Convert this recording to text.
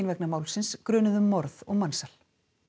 vegna málsins grunuð um morð og mansal